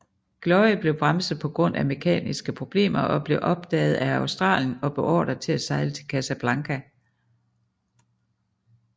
Gloire blev bremset på grund af mekaniske problemer og blev opdaget af Australia og beordret til at sejle til Casablanca